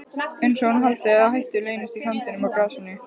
Einsog hún haldi að hættur leynist í sandinum og grasinu.